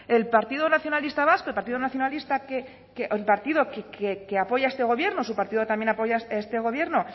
el partido nacionalista vasco el partido que apoya este gobierno su partido también apoya este gobierno